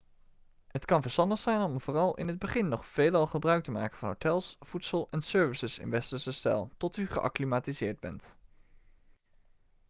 het kan verstandig zijn om vooral in het begin nog veelal gebruik te maken van hotels voedsel en services in westerse stijl tot u geacclimatiseerd bent